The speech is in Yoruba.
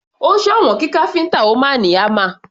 Ó sòwọ́n kí káfíntà ó máa ní hámà.